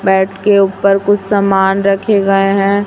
Mat के ऊपर कुछ सामान रखे गए हैं।